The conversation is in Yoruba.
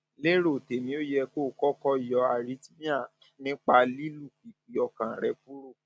lérò tèmi ó yẹ kó o kọkọ yọ arrhythmia nípa ìlùpìpì ọkàn rẹ kúrò